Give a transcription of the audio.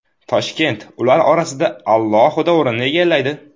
Toshkent ular orasida alohida o‘rinni egallaydi.